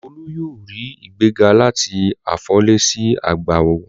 Olú yóò rí ìgbéga láti afọlẹ̀ sí agbawó.